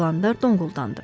Dalandar donquldandı.